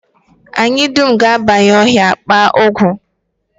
Anyị dum ga-abanye ọhịa, kpaa ọgwụ